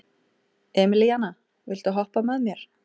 Emelíana, viltu hoppa með mér?